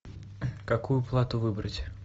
какую плату выбрать